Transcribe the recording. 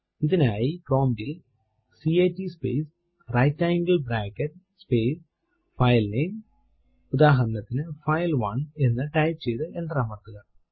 ഇതിനായി പ്രോംപ്റ്റ് ൽ cat space right angle bracket space filename ഉദാഹരണത്തിനു ഫൈൽ1 എന്ന് ടൈപ്പ് ചെയ്തു എന്റർ അമർത്തുക